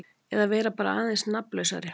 Eða bara vera aðeins nafnlausari.